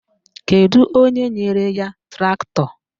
Kedu onye nyere ya traktọ?